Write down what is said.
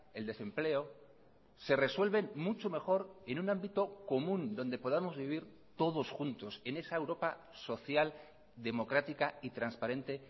el desempleo se resuelven mucho mejor en un ámbito común donde podamos vivir todos juntos en esa europa social democrática y transparente